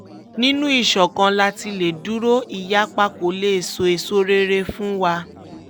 nínú ìṣọ̀kan la ti lè dúró ìyapa kó lè sọ èèṣo rere kan fún wa